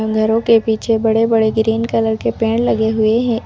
घरों के पीछे बड़े बड़े ग्रीन कलर के पेड़ लगे हुए हैं।